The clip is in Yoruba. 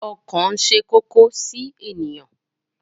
Ọkàn ṣe kókó sí ènìyàn.